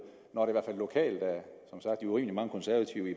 når man lokalt